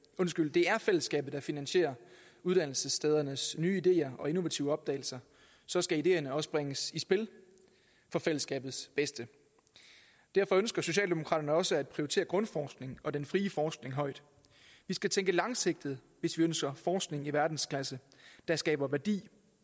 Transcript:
det er fællesskabet der finansierer uddannelsesstedernes nye ideer og innovative opdagelser så skal ideerne også bringes i spil for fællesskabets bedste derfor ønsker socialdemokraterne også at prioritere grundforskning og den frie forskning højt vi skal tænke langsigtet hvis vi ønsker forskning i verdensklasse der skaber værdi